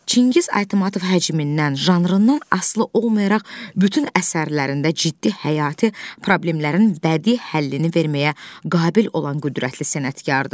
Çingiz Aytmatov həcmindən, janrından asılı olmayaraq bütün əsərlərində ciddi həyati problemlərin bədii həllini verməyə qabil olan qüdrətli sənətkardır.